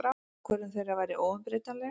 Ákvörðun þeirra væri óumbreytanleg.